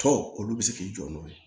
Tɔ olu bɛ se k'i jɔ n'o ye